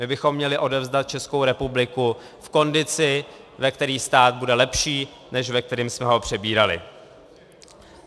My bychom měli odevzdat Českou republiku v kondici, ve které stát bude lepší, než ve které jsme ho přebírali.